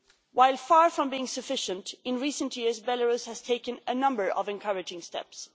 While far from being sufficient, in recent years Belarus has taken a number of encouraging steps.